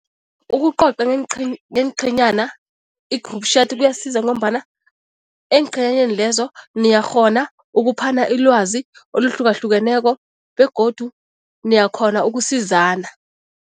Ukucoca ngeenqhenyana, i-group chat kuyasiza ngombana eenqhenyaneni lezo niyakghona ukuphana ilwazi oluhlukahlukeneko begodu niyakhona ukusizana.